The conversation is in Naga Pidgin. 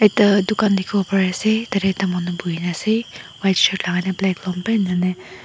tah dukan dikhi wole pari ase tadey ekta manu bohi na ase white shirt lagai nah black long pant enia ne --